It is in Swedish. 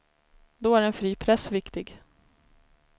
Då är en fri press viktig.